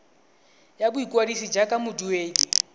ya boikwadiso jaaka moduedi wa